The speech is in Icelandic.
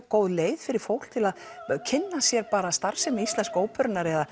góð leið fyrir fólk til að kynna sér starfsemi íslensku óperunnar